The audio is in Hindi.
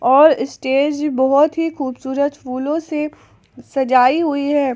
और स्टेज बहुत ही खूबसूरत फूलों से सजाई हुई है।